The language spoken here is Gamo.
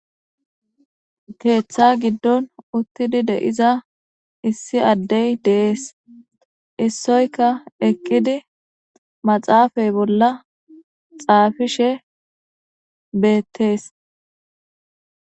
Teeththa giddon uttidi de'iza issi addey deees issoyka eqqidi maxaafay bolla xaafishe beettees